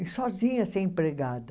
E sozinha sem empregada.